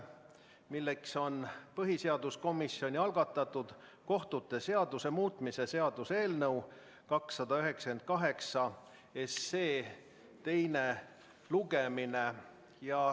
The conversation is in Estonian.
See on põhiseaduskomisjoni algatatud kohtute seaduse muutmise seaduse eelnõu 298 teine lugemine.